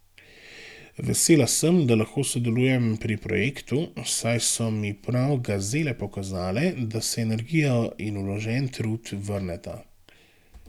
Vesela sem, da lahko sodelujem pri projektu, saj so mi prav gazele pokazale, da se energija in vložen trud vrneta.